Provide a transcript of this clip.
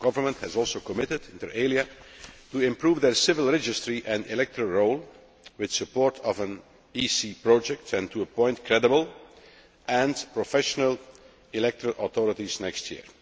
The government has also committed, inter alia to improving its civil registry and electoral role with the support of an EC project and to appoint credible and professional electoral authorities next year.